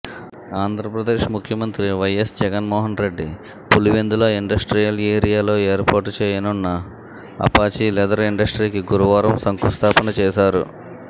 ఆంధ్రపదేశ్ ముఖ్యమంత్రి వైఎస్ జగన్మోహన్రెడ్డి పులివెందుల ఇండస్ట్రియల్ ఏరియాలో ఏర్పాటు చేయనున్న అపాచీ లెదర్ ఇండస్ట్రీకి గురువారం శంకుస్థాపన చేశారు